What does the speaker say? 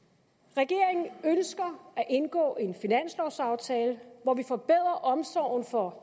regeringen ønsker at indgå en finanslovsaftale hvor vi forbedrer omsorgen for